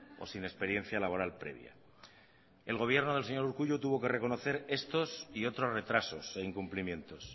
o sin experiencia laboral previa el gobierno del señor urkullu tuvo que reconocer estos y otros retrasos e incumplimientos